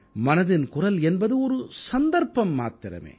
மனதின் குரல் என்பது ஒரு சந்தர்ப்பம் மாத்திரமே